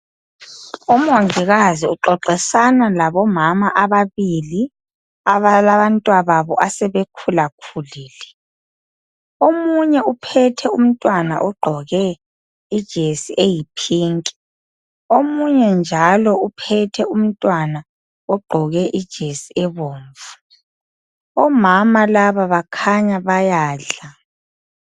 Umongikazi uxoxisana labomama ababili, abalabantwababo asebekhulakhulile. Omunye uphethe umntwana ogqoke ijesi eyipink. Omunye njalo uphethe umntwana ogqoke ijesi ebomvu. Omama laba bakhanya bayadla.